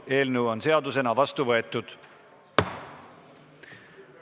Eelnõu on seadusena vastu võetud.